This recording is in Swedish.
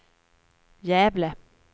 Gävle